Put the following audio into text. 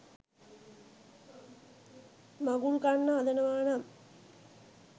මඟුල් කන්න හදනවා නම්